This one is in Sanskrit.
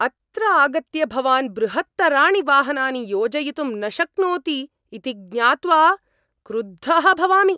अत्र आगत्य भवान् बृहत्तराणि वाहनानि योजयितुं न शक्नोति इति ज्ञात्वा क्रुद्धः भवामि।